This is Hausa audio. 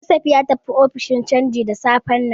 Joseph ya tafi ofishin canji da safen nan.